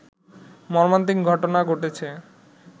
মর্মান্তিক ঘটনা ঘটেছে